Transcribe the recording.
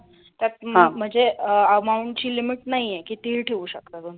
त्यात म्हणजे amount ची limit नाही आहे कितीही ठेऊ शकता तुम्ही.